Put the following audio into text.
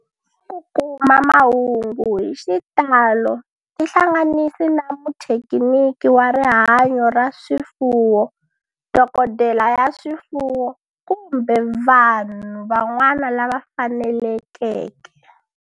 Ku kuma mahungu hi xitalo tihlanganisi na muthekiniki wa rihanyo ra swifuwo, dokodela ya swifuwo, kumbe vanhu van'wana lava fanelekeke.